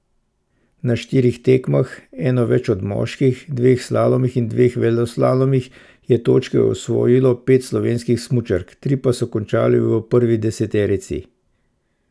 Na štirih tekmah, eno več od moških, dveh slalomih in dveh veleslalomih, je točke osvojilo pet slovenskih smučark, tri pa so končale v prvi deseterici.